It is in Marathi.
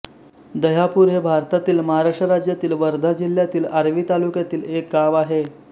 दह्यापूर हे भारतातील महाराष्ट्र राज्यातील वर्धा जिल्ह्यातील आर्वी तालुक्यातील एक गाव आहे